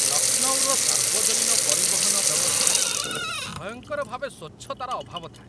ଲକ୍ଷ୍ନୌର ସାର୍ବଜନୀନ ପରିବହନ ବ୍ୟବସ୍ଥାରେ ଭୟଙ୍କର ଭାବେ ସ୍ୱଚ୍ଛତାର ଅଭାବ ଥାଏ ।